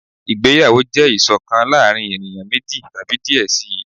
ìgbéyàwó jẹ iṣọkan láàrin eniyan meji tabi diẹ sii.